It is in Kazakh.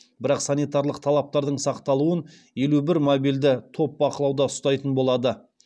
бірақ санитарлық талаптардың сақталуын елу бір мобильді топ бақылауда ұстайтын болады